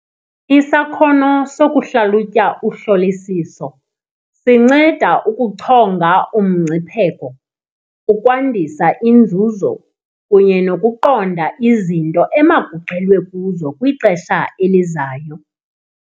Isakhono sokuhlalutya uhlolisiso sinceda ukuchonga umngcipheko, ukwandisa inzuzo kunye nokuqonda izinto emakugxilwe kuzo kwixesha elizayo.